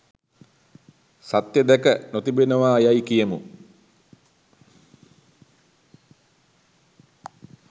සත්‍ය දැක නොතිබෙනවා යැයි කියමු.